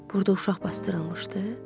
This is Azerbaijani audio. Burda uşaq basdırılmışdı?